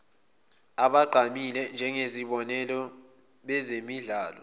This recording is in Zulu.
abagqamile njengezibonelo bezemidlalo